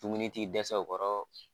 Dumuni ti dɛsɛ u kɔrɔ